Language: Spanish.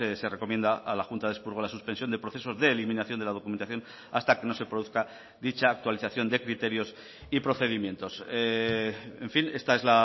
se recomienda a la junta de expurgo la suspensión de procesos de eliminación de la documentación hasta que no se produzca dicha actualización de criterios y procedimientos en fin esta es